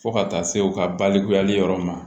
Fo ka taa se u ka balikuyali yɔrɔ ma